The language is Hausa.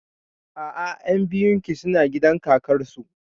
A'a, ƴan biyun ki suna gidan kakar su